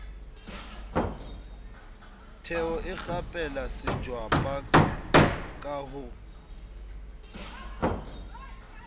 theho ikgapela setjwaba ka ho